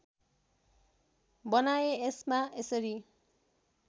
बनाएँ यसमा यसरी